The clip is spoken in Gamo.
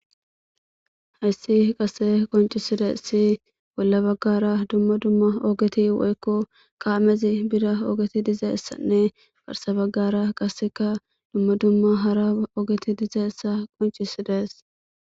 Hayssi qase qoncisides si bolla baggara dumma dumma oogeti woykko kaamezi bida oogeti dizeessanne barsa baggara qaseka dumma dumma hara oogeti dizeessa qoncisidees.